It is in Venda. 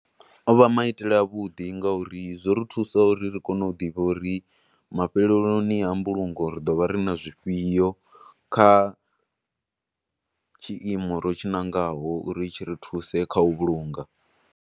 Ovha maitele a vhuḓi nga uri zwo ri thusa uri ri kone u ḓivha uri mafheleloni a mbulungo ri ḓovha ri na zwifhio, kha tshiimo ro tshi ṋangaho uri tshi ri thuse kha u vhulunga.